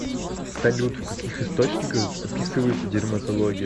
салют в каких источниках описывается дерматология